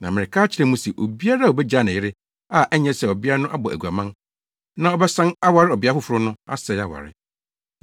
Na mereka akyerɛ mo se, obiara a obegyaa ne yere, a ɛnyɛ sɛ ɔbea no abɔ aguaman, na ɔbɛsan aware ɔbea foforo no asɛe aware.”